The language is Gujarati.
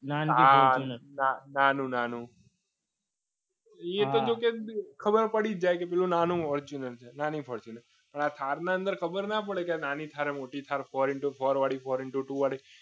હા નાનું નાનું એ તો જો કે ખબર પડી જાય કે આ નાનું foetuner છે એની ઉપર છે thar અંદર four into two ખબર ન પડે ત્યાં નાની થાય એમ મોટી થાય છે